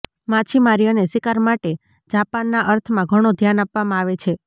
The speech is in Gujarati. માછીમારી અને શિકાર માટે જાપાનના અર્થમાં ઘણો ધ્યાન આપવામાં આવે છે